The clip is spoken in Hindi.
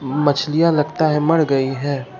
मछलियां लगता है मर गई हैं।